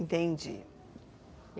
Entendi.